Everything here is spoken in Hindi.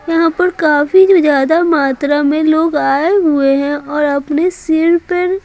यहां पर काफी ज्यादा मात्रा में लोग आए हुए हैंऔर अपने सिर पर--